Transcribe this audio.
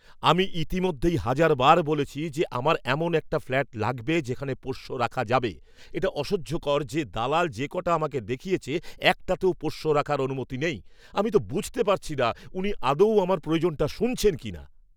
আমি ইতিমধ্যেই হাজারবার বলেছি যে আমার এমন একটা ফ্ল্যাট লাগবে যেখানে পোষ্য রাখা যাবে। এটা অসহ্যকর যে দালাল যে কটা আমাকে দেখিয়েছে একটাতেও পোষ্য রাখার অনুমতি নেই। আমি তো বুঝতে পারছি না উনি আদৌ আমার প্রয়োজনটা শুনছেন কিনা!